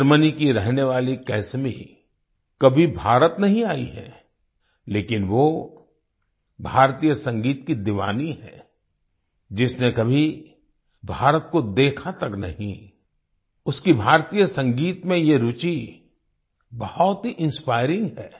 Germany की रहने वाली कैसमी कभी भारत नहीं आई है लेकिन वो भारतीय संगीत की दीवानी है जिसने कभी भारत को देखा तक नहीं उसकी भारतीय संगीत में ये रूचि बहुत ही इंस्पायरिंग है